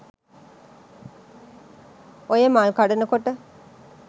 ඔය මල් කඩනකොට